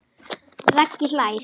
Raggi hlær.